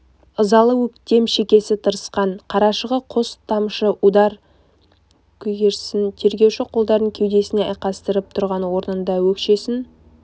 ызалы өктем шекесі тырысқан қарашығы қос тамшы удай көгерген тергеуші қолдарын кеудесіне айқастырып тұрған орнында өкшесін